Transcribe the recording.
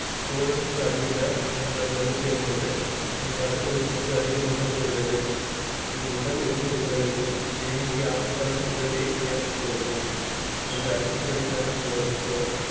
தோலுக்கு அடியில உள்ள கொழுப்பு என்பது உங்கள் அடி வயிற்றுக்கு அடியில் நிலைத்து விடுகிறது. இது உடலின் ஒவ்வொரு உறுப்புகளிலும் தேங்கி ஆபத்தான விளைவை ஏற்படுத்துகிறது. இந்த அதிகப்படியான கொழுப்பு